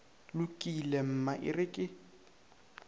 lokile mma e re ke